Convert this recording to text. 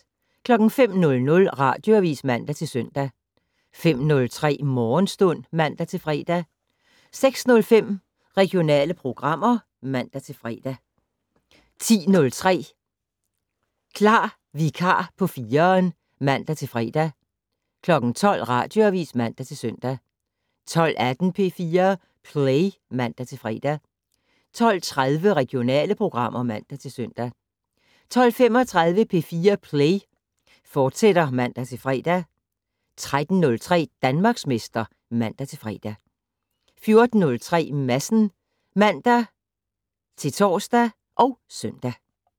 05:00: Radioavis (man-søn) 05:03: Morgenstund (man-fre) 06:05: Regionale programmer (man-fre) 10:03: Klar vikar på 4'eren (man-fre) 12:00: Radioavis (man-søn) 12:18: P4 Play (man-fre) 12:30: Regionale programmer (man-søn) 12:35: P4 Play, fortsat (man-fre) 13:03: Danmarksmester (man-fre) 14:03: Madsen (man-tor og søn)